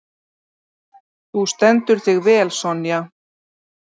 Þú stendur þig vel, Sonja!